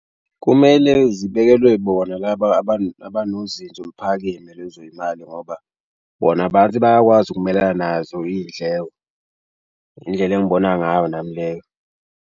Kumele zibekelwe bona laba abanozinzo oluphakeme lezo y'mali ngoba bona abantu bayakwazi ukumelelana nazo iy'ndleko. Indlela engibona ngayo nami leyo.